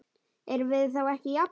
Erum við þá ekki jafnir?